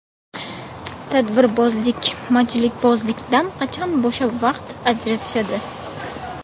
Tadbirbozlik, majlisbozlikdan qachon bo‘shab, vaqt ajratishadi?